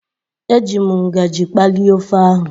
Eji m ngaji kpalie ofe ahu.